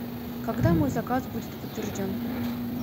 когда мой заказ будет подтвержден